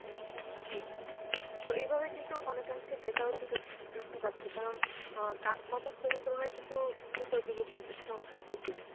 জি. তো এইভাবে কিন্তু অনেকাংশে বেকারত্বটা বৃদ্ধি পাচ্ছে. কারণ অ্যাঁ কর্মস্থলের তুলনায় কিন্তু শিক্ষিত যুবকের সংখ্যা বেশি.